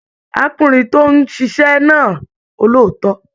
Arákùnrin tó n ṣiṣẹ náà olóòótọ.